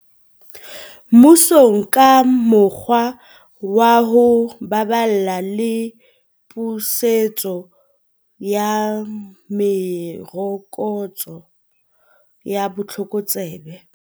Mmusong ka mokgwa wa ho baballa le pusetso ya merokotso ya botlokotsebe.